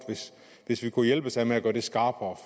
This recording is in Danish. hvis vi kunne hjælpes ad med at gøre det skarpere